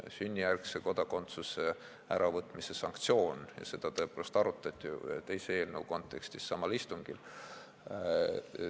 Sünnijärgse kodakondsuse äravõtmise sanktsioon – seda tõepoolest arutati samal istungil teise eelnõu kontekstis.